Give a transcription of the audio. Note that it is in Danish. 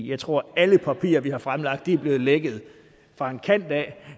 jeg tror at alle papirer vi har fremlagt er blevet lækket fra en kant af